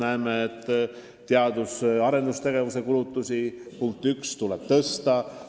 Ühelt poolt, punkt 1: teadus- ja arendustegevuse kulutusi tuleb suurendada.